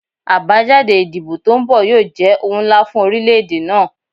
Abajade idibo to nbọ yoo jẹ ohun nla fun orilẹ-ede naa